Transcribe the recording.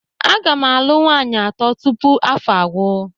Aga m alụ nwaanyị atọ tupu afọ a agwụ.